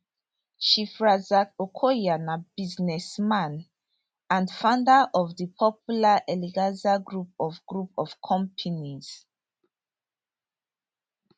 chief razaq okoya na businessman and founder of di popular eleganza group of group of companies